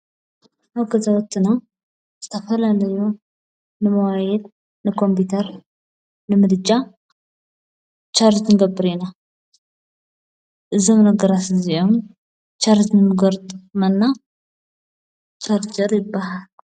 ኣብ ከዛወትና ዝተፈላንዮ ንመዋይድ ንቆምጵተር ንምድጫ ሻርዝ ንገብሪ ኢና እዝም ነገራስእዚዮም ሻርዝ ምገርጥ መና ሻርገር ይበሃል::